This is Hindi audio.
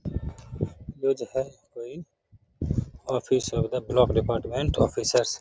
ये जो है कोई ऑफिस है उधर ब्लॉक डिपार्टमेंट ऑफिसर्स --